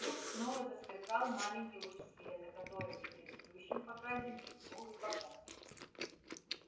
вдруг снова засверкал маленький луч света который при предыдущем показе мелькнул и погас